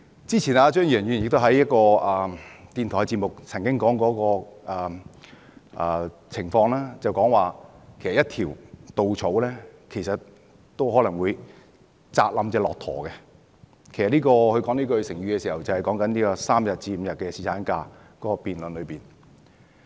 之前，張宇人議員在一個電台節目上曾經說過一個情況，就是一條稻草都可能會壓垮一隻駱駝，其實他說這個成語時，是指這個3天與5天的侍產假辯論。